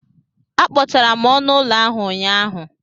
Akpochara m ọnụ ụlọ ahụ ụnyaahụ.